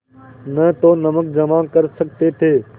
न तो नमक जमा कर सकते थे